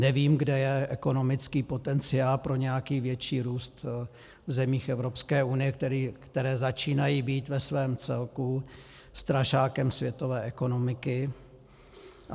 Nevím, kde je ekonomický potenciál pro nějaký větší růst v zemích Evropské unie, které začínají být ve svém celku strašákem světové ekonomiky.